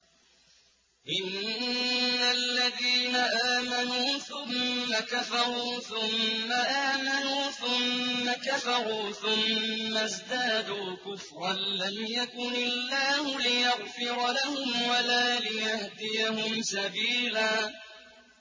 إِنَّ الَّذِينَ آمَنُوا ثُمَّ كَفَرُوا ثُمَّ آمَنُوا ثُمَّ كَفَرُوا ثُمَّ ازْدَادُوا كُفْرًا لَّمْ يَكُنِ اللَّهُ لِيَغْفِرَ لَهُمْ وَلَا لِيَهْدِيَهُمْ سَبِيلًا